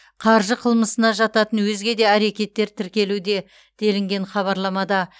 қаржы қылмысына жататын өзге де әрекеттер тіркелуде делінген хабарламада